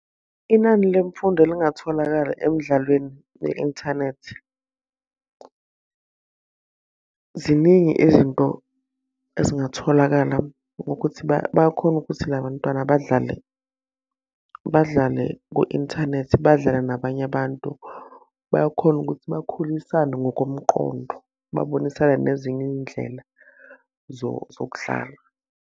Inani lemfundo elingatholakala emdlalweni ye-inthanethi. Ziningi izinto ezingatholakala ngokuthi bayakhona ukuthi la bantwana badlale badlale ku-inthanethi, badlale nabanye abantu. Bayakhona ukuthi bakhulisane ngokomqondo, babonisane nezinye iy'ndlela zokudlala.